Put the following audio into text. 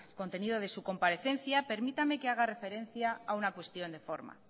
contenido de su comparecencia permítame que haga referencia a una cuestión de forma